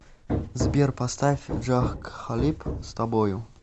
сбер поставь джах кхалиб с тобою